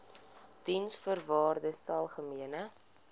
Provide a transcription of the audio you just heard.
diensvoorwaardesalgemene